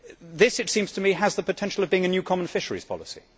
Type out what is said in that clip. This, it seems to me, has the potential of being a new common fisheries policy.